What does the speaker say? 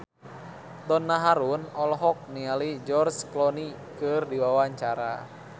Donna Harun olohok ningali George Clooney keur diwawancara